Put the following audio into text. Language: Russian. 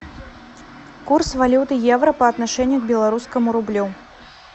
курс валюты евро по отношению к белорусскому рублю